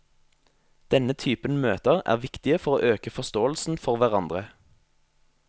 Denne typen møter er viktige for å øke forståelsen for hverandre.